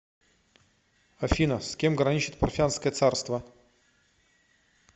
афина с кем граничит парфянское царство